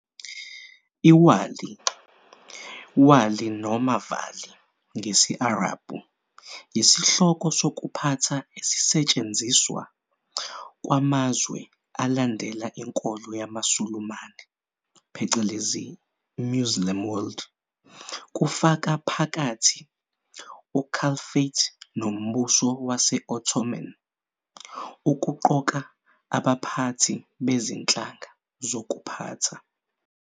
ÎWali, Wā'lī noma Vali, ngesi-Arabhu, yisihloko sokuphatha esisetshenziswa kwamazwe alandela inkolo yamaSulumane, Muslim World, kufaka phakathi uCalphate noMbuso Wase-Ottoman, ukuqoka abaphathi bezinhlaka zokuphatha.